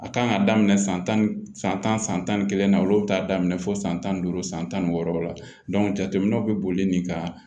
A kan ka daminɛ san tan san tan san tan ni kelen na olu bɛ taa daminɛ fo san tan duuru san tan ni wɔɔrɔ la jateminɛw bɛ boli nin kan